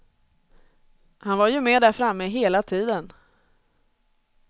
Han var ju med där framme hela tiden.